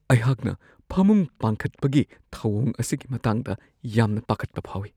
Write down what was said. ꯑꯩꯍꯥꯛꯅ ꯐꯃꯨꯡ ꯄꯥꯟꯈꯠꯄꯒꯤ ꯊꯧꯋꯣꯡ ꯑꯁꯤꯒꯤ ꯃꯇꯥꯡꯗ ꯌꯥꯝꯅ ꯄꯥꯈꯠꯄ ꯐꯥꯎꯋꯤ ꯫